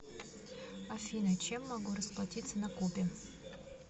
афина чем могу расплатиться на кубе